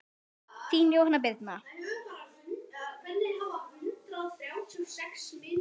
Þín Jóhanna Birna.